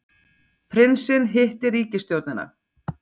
Prinsinn hittir ríkisstjórnina